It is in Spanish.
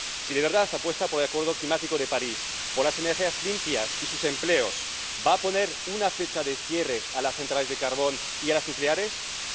Si de verdad apuesta por el Acuerdo climático de París, por las energías limpias y sus empleos, ¿va a poner una fecha de cierre a las centrales de carbón y a las centrales nucleares?